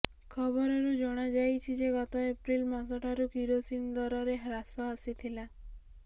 ଖବରରୁ ଜଣାଯାଇଛି ଯେ ଗତ ଏପ୍ରିଲ ମାସଠାରୁ କିରୋସିନି ଦରରେ ହ୍ରାସ ଆସିଥିଲା